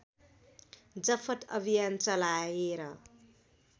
जफत अभियान चलाएर